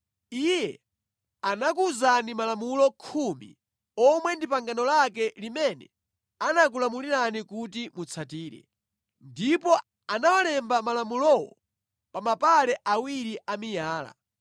Iye anakuwuzani Malamulo Khumi omwe ndi pangano lake limene anakulamulirani kuti mutsatire. Ndipo anawalemba malamulowo pa mapale awiri a miyala.